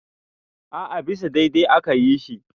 a a bisa daidai aka yi shi